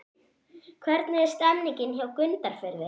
Hvernig er stemningin hjá Grundarfirði?